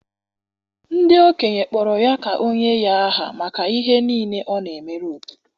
ndị okenye kpọrọ ya ka o nye ya aha maka ihe ọma niile ọ na-emere obodo.